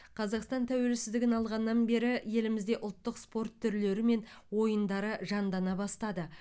қазақстан тәуелсіздігін алғаннан бері елімізде ұлттық спорт түрлері мен ойындары жандана бастады